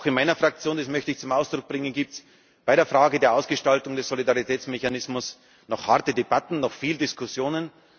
Auch in meiner Fraktion, das möchte ich zum Ausdruck bringen, gibt es bei der Frage der Ausgestaltung des Solidaritätsmechanismus noch harte Debatten, noch viele Diskussionen.